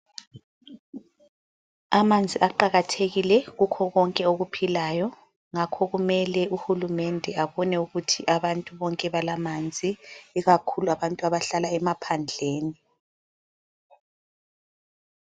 Amanzi aqakathekile kukho konke okuphilayo ngakho kumele uhulumende ebone ukuthi bonke abantu balamanzi ikakhulu abantu abahlala emaphandleni.